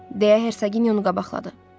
deyə Herseqinya onu qabaqladı.